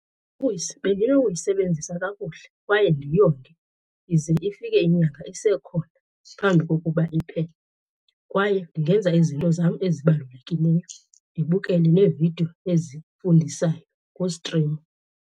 Bendinoyisebenzisa kakuhle kwaye ndiyonge ize ifike inyanga isekhona phambi kokuba iphele. Kwaye ndingenza izinto zam ezibalulekileyo, ndibukele neevidiyo ezifundisayo kustrimo.